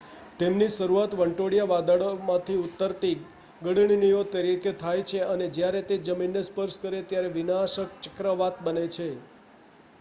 "તેમની શરૂઆત વંટોળિયા વાદળોમાંથી ઉતરતી ગળણીઓ તરીકે થાય છે અને જ્યારે તે જમીનને સ્પર્શ કરે ત્યારે "વિનાશક ચક્રવાત" બને છે.